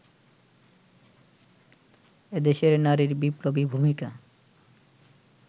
এদেশের নারীর বিপ্লবী ভূমিকা